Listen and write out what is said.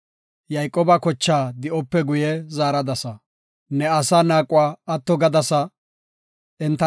Ne asaa naaquwa atto gadasa; enta nagaraa ubbaa kammadasa. Salaha